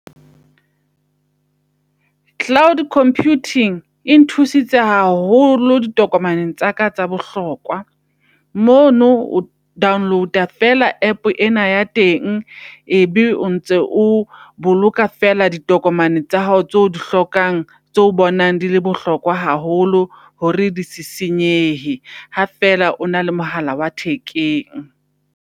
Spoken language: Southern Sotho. Cloud computing e nthusitse haholo ditokomaneng tsaka tsa bohlokwa. Mono o download-a fela app ena ya teng, ebe o ntse o boloka fela ditokomane tsa hao tseo di hlokang tseo bonang di le bohlokwa haholo. Hore dise senyehe ha fela o na le mohala wa thekeng.